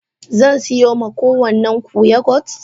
Zan siyo ma kowannan ku yogurt.?